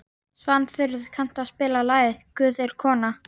Svanþrúður, kanntu að spila lagið „Guð er kona“?